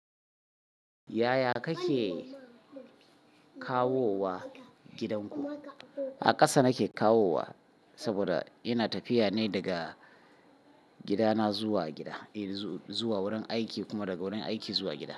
Yaya kake kawowa gidanku? A ƙasa nake kawowa saboda ina tafiya ne daga gidana zuwa gida, eh zuwa wurin aiki kuma daga wurin aiki zuwa gida.